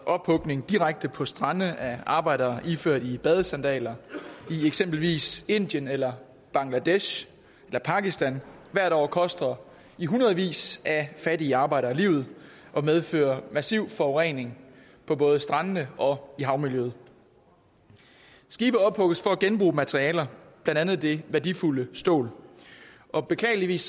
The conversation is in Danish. ophugning direkte på strande af arbejdere iført badesandaler i eksempelvis indien eller bangladesh eller pakistan hvert år koster i hundredvis af fattige arbejdere livet og medfører massiv forurening af både strandene og havmiljøet skibe ophugges for at genbruge materialer blandt andet det værdifulde stål og beklageligvis